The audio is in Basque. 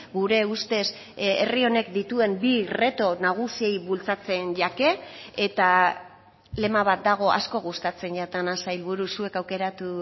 gure ustez herri honek dituen bi reto nagusiei bultzatzen jake eta lema bat dago asko gustatzen jatana sailburu zuek aukeratu